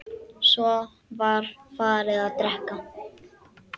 Svo var farið að drekka.